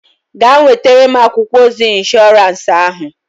Gaa nwetara m akwụkwọ ozi ịnshọransị ahụ!